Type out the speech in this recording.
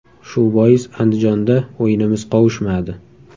Shu bois Andijonda o‘yinimiz qovushmadi.